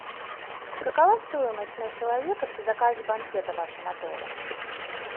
какова стоимость на человека при заказе банкета в вашем отеле